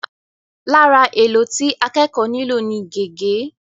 Lára èlò tí akẹ́kọ̀ọ́ nílò ni gègé.